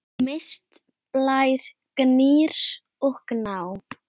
Mist, Blær, Gnýr og Gná.